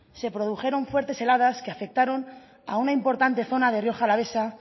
se produjeron fuertes heladas que afectaron a una importante zona de rioja alavesa